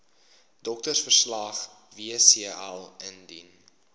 doktersverslag wcl indien